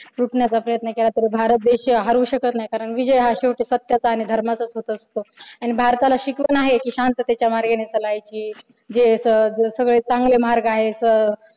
उठण्याचा प्रयत्न केला तरी भारत हा हरू शकत नाही कारण विजय हा शेवटी सत्याचा आणि धर्माचाच होत असतो आणि भारताला शिकवण आहे कि शांततेच्या मार्गाने चालायची जे सगळे चांगले मार्ग आहेत अह